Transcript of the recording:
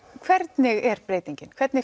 hvernig er breytingin hvernig